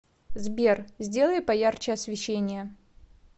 сбер сделай поярче освещение